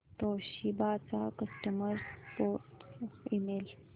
Toshiba चा customer support email